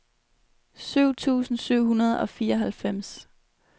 syv tusind syv hundrede og fireoghalvfems